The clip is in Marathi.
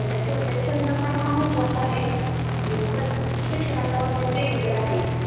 आणि त्यांच्या थोडक्यात छंद हा पण महत्वाचा आहे, शिक्षणाच्या बाबतीत वेगवेगळा आहे.